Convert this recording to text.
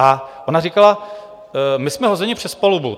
A ona říkala: My jsme hozeni přes palubu.